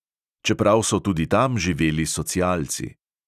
Čeprav so tudi tam živeli socialci.